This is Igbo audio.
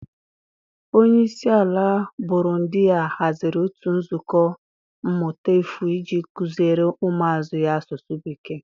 Onye isi ala Burundiya haziri otu nzukọ mmụta efu iji kuziere ụmụazụ ya asụsụ Bekee.